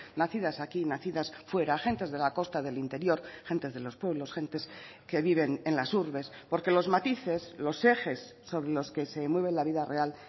nacidas aquí nacidas fuera gentes de la costa del interior gentes de los pueblos gentes que viven en las urbes porque los matices los ejes sobre los que se mueve la vida real